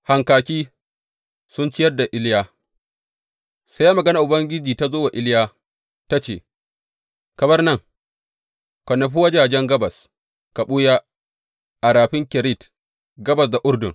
Hankaki sun ciyar da Iliya Sai maganar Ubangiji ta zo wa Iliya, ta ce, Ka bar nan, ka nufi wajajen gabas, ka ɓuya a Rafin Kerit, gabas da Urdun.